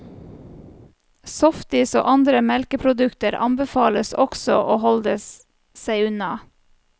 Softis og andre melkeprodukter anbefales også å holde seg unna.